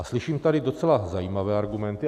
A slyším tady docela zajímavé argumenty.